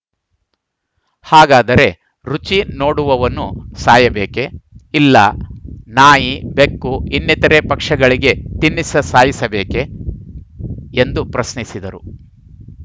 ಹಾಗಾದರೆ ರುಚಿ ನೋಡುವವನು ಸಾಯಬೇಕೆ ಇಲ್ಲ ನಾಯಿ ಬೆಕ್ಕು ಇನ್ನಿತರೆ ಪಕ್ಷಗಳಿಗೆ ತಿನ್ನಿಸ ಸಾಯಿಸಬೇಕೆ ಎಂದು ಪ್ರಶ್ನಿಸಿದರು